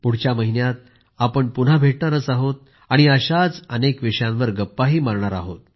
पुढच्या महिन्यात आम्ही पुन्हा भेटू आणि अशाच अनेक विषयांवर गप्पा मारू